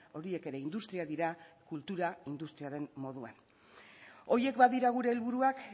horiek ere industriak dira kultura industriaren moduan horiek badira gure helburuak